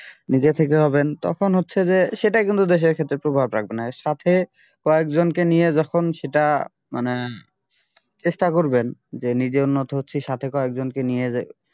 নিজে থেকে হবেন তখন হচ্ছে যে সেটা কিন্তু দেশের ক্ষেত্রে প্রভাব রাখবে না এর সাথে কয়েকজন কে নিয়ে যখন সেটা মানে চেষ্টা করবেন যে নিজে উন্নত হচ্ছি সাথে কয়েকজনকে নিয়ে যে